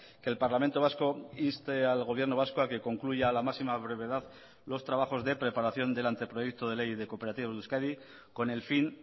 que el parlamento vasco inste al gobierno vasco a que concluya a la máxima brevedad los trabajos de preparación del anteproyecto de ley de cooperativas de euskadi con el fin